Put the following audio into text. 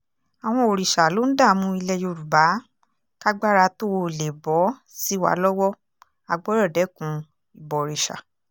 àwọn òrìṣà ló ń dààmú ilẹ̀ yorùbá kágbára tóo lè bọ́ sí wa lọ́wọ́ á gbọ́dọ̀ dẹ́kun ìbọ̀rìṣà